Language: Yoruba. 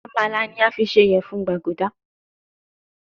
Amala ni a fi ṣe iyẹfun gbaguda